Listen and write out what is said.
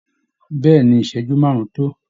Bẹ́ẹ̀ ni, ìṣẹ́jú márùn-ún tó